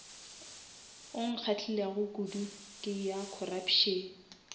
nkgahlilego kudu ke ya corruption